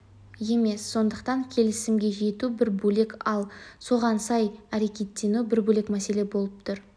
емес сондықтан келісімге жету бір бөлек ал соған сай әрекетену бір бөлек мәселе болып тұр